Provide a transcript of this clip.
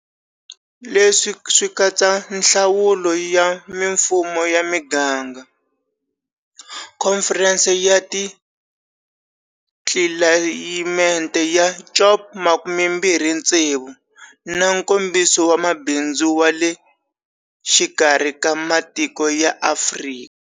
Leswi swi katsa nhlawulo ya mifumo ya miganga, khomferense ya tlilayimete ya COP26 na Nkombiso wa Mabindzu wa le Xikarhi ka Matiko ya Afrika.